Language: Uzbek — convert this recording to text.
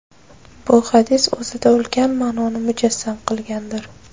Bu hadis o‘zida ulkan ma’noni mujassam qilgandir.